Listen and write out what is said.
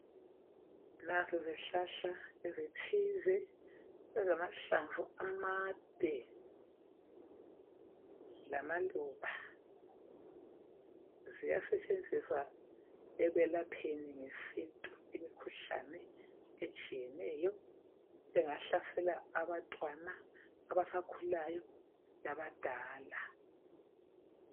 Nanzi izihlahla ezithile esilamahlamvu amade lamaluba ziyasetshenziswa lekwelapheni ngesintu imikhuhlane etshiyeneyo bengahlaselwa abantwana abasakhulayo labantu abadala